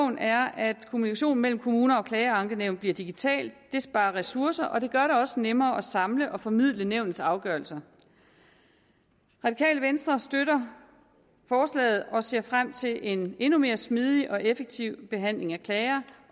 er at kommunikationen mellem kommuner og klagenævnet bliver digital det sparer ressourcer og det gør det også nemmere at samle og formidle nævnets afgørelser radikale venstre støtter forslaget og ser frem til en endnu mere smidig og effektiv behandling af klager